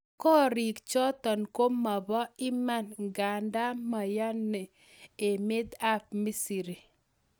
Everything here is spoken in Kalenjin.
Korik chotok ko mapo Iman nganda menyana emet AP misri.